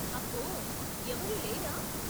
అబ్బో, ఎవరూ లేరా ?